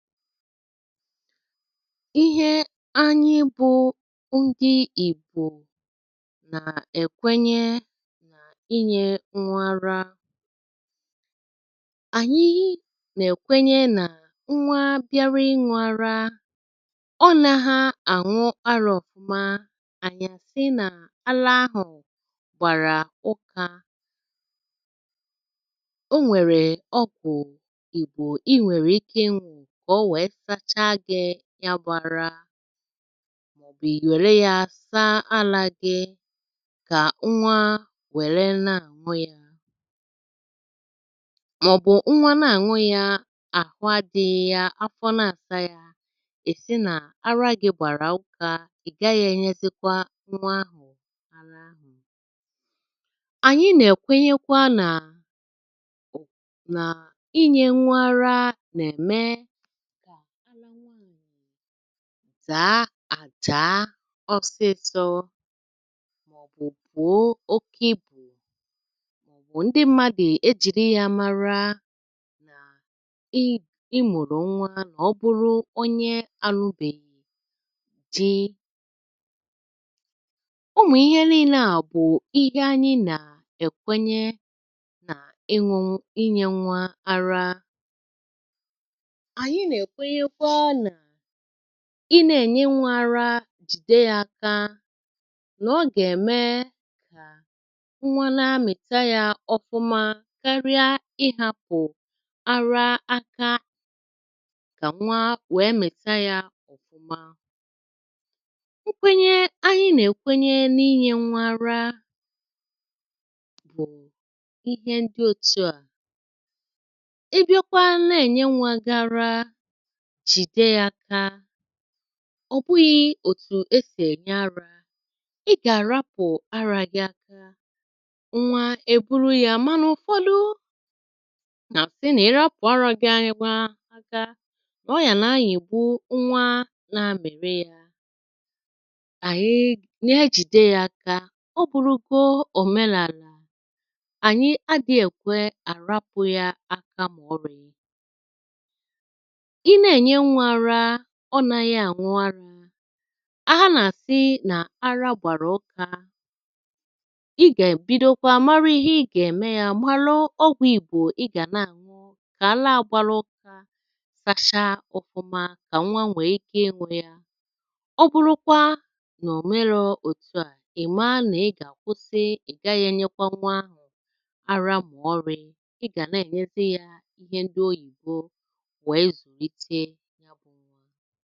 Ihe anyị bụ̄ ndị ìgbò nà-èkwenye nà inyē nnwa ara Ànyị nèkwenye nà nnwa biari ịṅụ̄ araa, ọ nāhā àṅụ arā ọ̀fụma ànyị̀ àsị nà ara ahụ̀ gbàrà ụkā o nwèrè ogwù ìgbò I nwèrè ike ịṅụ̄ kà o nwèe sachaa gị̄ yabụ̄ ara ì nwère yā saa alā gi kà nnwa nwère na-àṅụ yā mọ̀bụ̀ nnwa na-àṅụ yā àhụ adị̄ghị̄ yā, afọ na-àsa yā, ì sị nà ara gī gbàrà ụkā ị̀ gaghị̄ ènyezikwa nnwa ahụ̀ Ànyị nèkwenyekwa nà inyē nnwa ara nème dàa àdaa ọsịsọ̄ mọ̀bụ̀ bùo oke ibù bụ̀ ndị mmadụ̀ ejìri yā mara ị ị mụ̀rụ̀ nnwa mọ̀ ọ bụrụ onye àlụbèghì di. Ụmụ̀ ihe liilē ā bụ̀ ihe ànyị nèkwenye nà ịṅụ̄ inyē nnwa ara, ànyị nèkwenyekwa nà I nēènye nnwā ara jìde yā aka nọ̀ ọ nèmee nnwa na-amị̀ta yā ọfụma karịa ịhāpụ̀ ara aka kà nnwa wèe mị̀ta yā ọ̀fụma Nkwenye ànyị nèkwenye nịnyē nnwa ara bụ̀ ihe dị òtu à, ị bịakwa ne-ènye nnwā ga ara jìde yā aka, ọ̀ bụghị̄ òtù esì ènye arā ị gà-àrapù arā gi aka ǹnwà èburu yā mà nọ̀kwalụ nà-àsị nà ịrapụ̀ ara gī aka nà ọ yà nayị̀gbu nnwa nāā amị̀rị yā. Àyị nejìde yā aka ọ bụrụgo òmenàlà, ànyị adị̄ èkwe àrapụ̄ yā aka mọ̀ọlị. Ị ne-ènye nnwā ara ọ nāghị̄ àṅụ arā a nàsị nà ara gbàrà ụkā, ị gèbidokwa mari ihe igè ème yā malụ ọgwụ̄ ìgbò ị gà na-àṅụ kà alaa à gbara ụkā sashaa ọ̀fụma kà nnwa nwèe ike ịṅụ̄ yā. Ọ bụrụkwa nò òmerō òtu à ì maa nị̀ ị gàkwụsị ị̀ gaghị̄ ènyekwa nnwa ahụ̀ ara mọ̀ọlị̄ ị gà ne-ènyezi yā ihe ndị oyìbo nwèe zùlite.